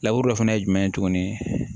dɔ fɛnɛ ye jumɛn ye tuguni